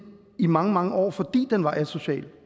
i mange mange år fordi den var asocial